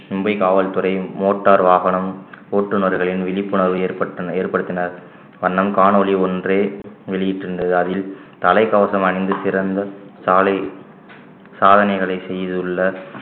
மும்பை காவல்துறையும் motor வாகனம் ஓட்டுநர்களின் விழிப்புணர்வு ஏற்பட்ட~ ஏற்படுத்தினார் வண்ணம் காணொளி ஒன்றை வெளியிட்டிருந்தது அதில் தலைக்கவசம் அணிந்து சிறந்த சாலை சாதனைகளை செய்துள்ள